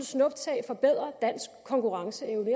snuptag forbedrer dansk konkurrenceevne